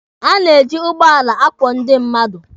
A na-eji ụgbọala akwọ ndị mmadụ.